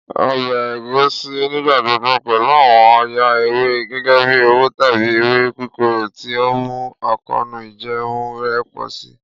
Ọbẹ Egusi nigbagbogbo pẹlu awọn ọya ewe gẹgẹbi owo tabi ewe kikoro, ti o nmu akoonu ijẹẹmu rẹ pọ si.